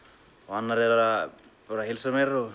annar bara heilsar mér og